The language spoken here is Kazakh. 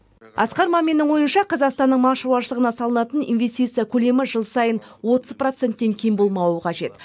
асқар маминнің ойынша қазақстанның мал шаруашылығына салынатын инвестиция көлемі жыл сайын отыз проценттен кем болмауы қажет